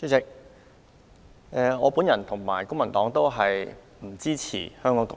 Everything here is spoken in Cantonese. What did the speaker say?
主席，我本人和公民黨都不支持"港獨"。